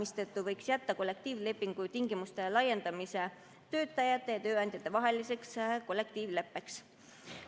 Seetõttu võiks kollektiivlepingu tingimuste laiendamine jääda töötajate ja tööandjate vahelise kollektiivleppe teemaks.